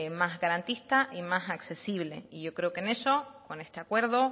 más garantista y más accesible y yo creo que en eso con este acuerdo